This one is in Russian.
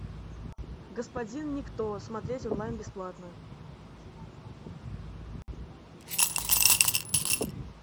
господин никто смотреть онлайн бесплатно